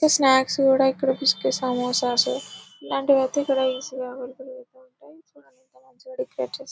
snacks కూడా ఇక్కడ బిస్కెట్లు సమోసాలు ఇలాంటివి అయితే ఇక్కడ ఈజీగా అవైలబుల్ గా ఉంటే --